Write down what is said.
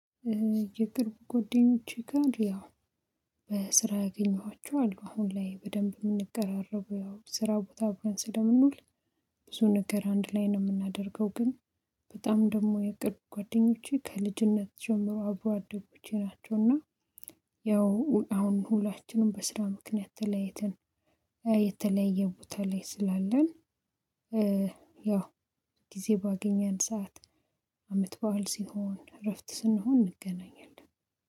የቅርብ ጎደኞቼ ጋር ያው በስራ ያገኘኋቸው አሉ አሁን ላይ በደንብ የምንቀራረበው ያው ስራው ቦታ አብረን ስለምንውል ብዙ ነገር አንድ ላይ ነው የምናደርገው። ግን በጣም ደግሞ የቅርብ ጓደኞቼ ከልጅነት ጀምሮ አብሮ አደጉቼ ናቸውና። ያው አሁን ሁላችንም በስራ ምክንያት ተለያይተን የተለየ ቦታ ላይ ስላለን። ጊዜ ባገኘን ሰዓት አመት በዓል ሲሆን እረፍት ስንሆን እንገናኛለን